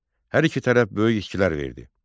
Hər iki tərəf böyük itkilər verdi.